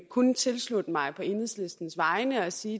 kun tilslutte mig på enhedslistens vegne og sige